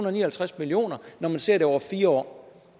og ni og halvtreds million kr når man ser det over fire år